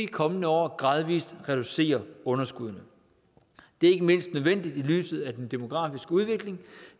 kommende år gradvis reducerer underskuddet det er ikke mindst nødvendigt set i lyset af den demografiske udvikling